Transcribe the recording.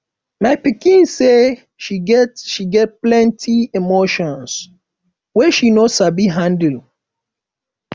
my pikin say she get get plenty emotions wey she no sabi handle